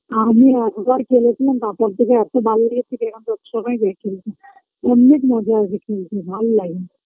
আমি একবার খেলেছিলাম তারপর থেকে এত ডাল দিয়েছিলাম যে বছর সবাইকে অন্নেক মজা আসে খেলতে ভাল্লাগে